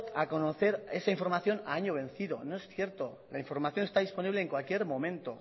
a conocer esa información a año vencido no es cierto la información está disponible en cualquier momento